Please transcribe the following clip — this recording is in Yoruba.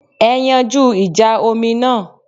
Ẹ yanjú ìjà omi náà